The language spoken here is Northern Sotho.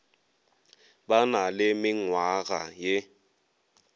ba na le menngwaga ye